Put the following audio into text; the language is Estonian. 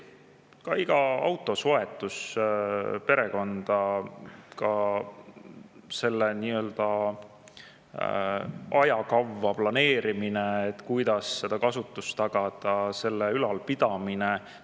iga auto soetus perekonda, selle ajakava planeerimine, kuidas selle kasutust ja tagada selle ülalpidamine.